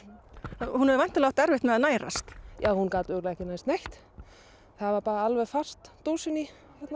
hún hefur væntanlega átt erfitt með að nærast já hún gat örugglega ekki nærst neitt það var alveg föst dósin í